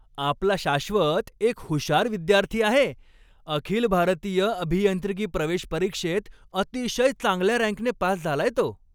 आपला शाश्वत एक हुशार विद्यार्थी आहे! अखिल भारतीय अभियांत्रिकी प्रवेश परीक्षेत अतिशय चांगल्या रँकने पास झालाय तो.